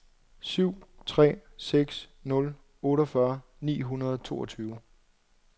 syv tre seks nul otteogfyrre ni hundrede og toogtyve